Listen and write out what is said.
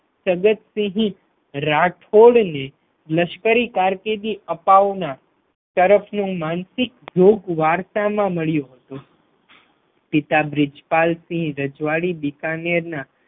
સદતસિંહ રાઠોડને લશ્કરી કારકિર્દી અપાવના તરફનું માનસિક જોગ વરસા માં મળ્યુ હતું પિતા બ્રિજપાલ સિંહ રજવાડી બિકાનેરના